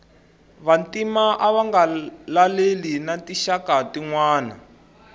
vantima ava nga laleli na tinxaka tinwana